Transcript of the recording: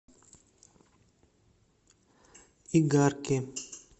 игарке